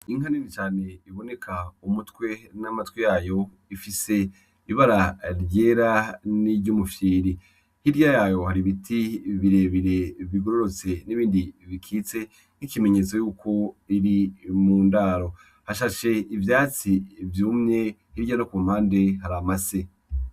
Inkaniri cane iboneka umutwe n'amatwi yayo ifise ibara ryera n'iryo umufyiri hirya yayo hari ibiti birebire bigororotse n'ibindi bikitse nk'ikimenyetso yuko iri mu ndaro hashashe ivyatsi vyumye hirya no ku mpande hari ama se.